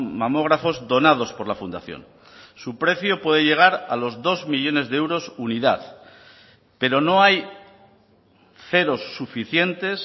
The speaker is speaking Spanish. mamógrafos donados por la fundación su precio puede llegar a los dos millónes de euros unidad pero no hay ceros suficientes